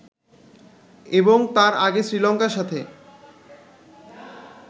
এবং তার আগে শ্রীলঙ্কার সাথে